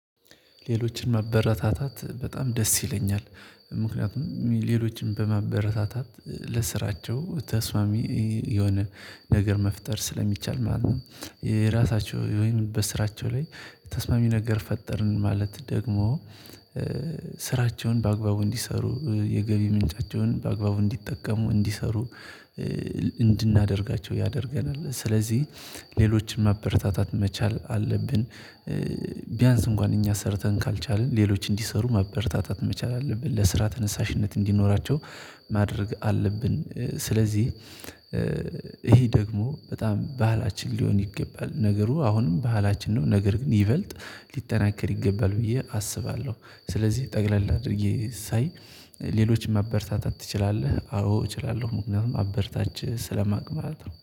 ሌሎችን ማበረታታት በጣም ደስ ይለኛል። ምክንያቱም ሌሎችን በማበረታታት ለስራቸው ተስማሚ የሆነ ነገር መፍጠር ስለሚቻል ማለት ነው። የራሳቸው ወይም በስራቸው ላይ ተስማሚ ነገር ፈጠርን ማለት ደግሞ ስራቸውን በአግባቡ እንዲሰሩ የገቢ ምንጫቸውን በአግባቡ እንዲጠቀሙ እንዲሰሩ እንድናደርጋቸው ያደርገናል። ስለዚህ ሌሎችን ማበረታታት መቻል አለብን ቢያንስ እንኳን እኛ ሰርተን ካልቻልን ሌሎች እንዲሰሩ ማበረታታት መቻል አለብን። ለስራ ተነሳሽነት እንዲኖራቸው ሌሎችን ማበረታታት በጣም ደስ ይለኛል። ምክንያቱም ሌሎችን በማበረታታት ለስራቸው ተስማሚ የሆነ ነገር መፍጠር ስለሚቻል ማለት ነው የራሳቸው ወይም በስራቸው ላይ ተስማሚ ነገር ፈጠርን ማለት ደግሞ ስራቸውን በአግባቡ እንዲሰሩ የገቢ ምንጫቸውን በአግባቡ እንዲጠቀሙ እንዲሰሩ እንድናደርጋቸው ያደርገናል ስለዚህ ሌሎችን ማበረታታት መቻል አለብን